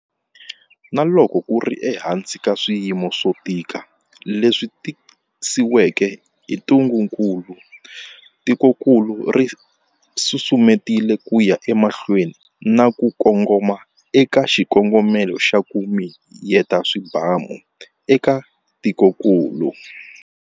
Na loko ku ri ehansi ka swiyimo swo tika leswi tisiweke hi ntungukulu, tikokulu ri susumetile ku ya emahlweni na ku kongoma eka xikongomelo xa, ku miyeta swibamu eka tikokulu.